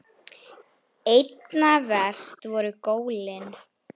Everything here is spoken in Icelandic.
Einna verst voru gólin.